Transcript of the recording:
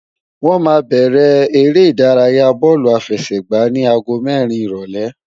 Wọ́n máa bẹ̀rẹ̀ eré ìdárayáa bóòlù àfẹsẹ̀gbá ní aago mẹ́rin ìrólé